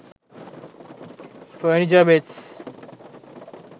furniture beds